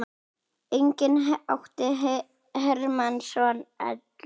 Einnig átti Hermann soninn Ellert.